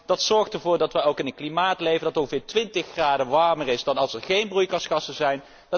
Dat zorgt ervoor dat we in een klimaat leven dat ongeveer twintig graden warmer is dan als er geen broeikasgassen zouden zijn.